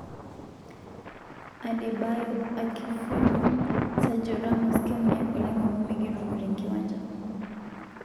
Adebayo Akinfenwa:Sergio Ramos kemunyak oleng amu mikitumo tenkiwanja.